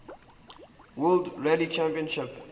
world rally championship